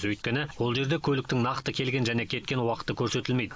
өйткені ол жерде көліктің нақты келген және кеткен уақыты көрсетілмейді